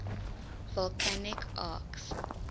volcanic arcs